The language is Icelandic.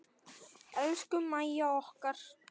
Elsku Mæja okkar.